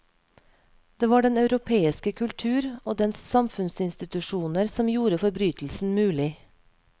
Det var den europeiske kultur og dens samfunnsinstitusjoner som gjorde forbrytelsen mulig.